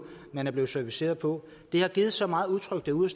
man er blevet serviceret på det har givet så meget utryghed ude